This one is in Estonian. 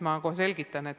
Ma kohe selgitan.